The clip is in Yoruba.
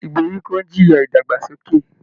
Ìgbèríko ń jìyà ìdàgbàsókè